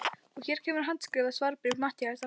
Og hér kemur handskrifað svarbréf Matthíasar